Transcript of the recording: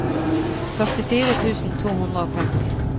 førtifire tusen to hundre og femti